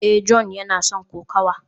a, John yana son kokawa